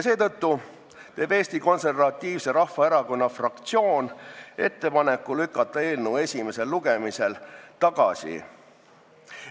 Seetõttu teeb Eesti Konservatiivse Rahvaerakonna fraktsioon ettepaneku lükata eelnõu esimesel lugemisel tagasi.